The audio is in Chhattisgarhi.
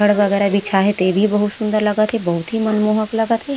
छड़ वगरेह बिछा है ते भी बहुत सुन्दर लगत है ते भी बहुत मनमोहक लगत है। --